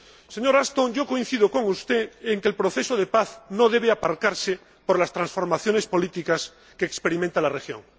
Señora Ashton, yo coincido con usted en que el proceso de paz no debe aparcarse por las transformaciones políticas que experimenta la región.